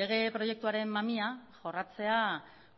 lege proiektuaren mamia jorratzea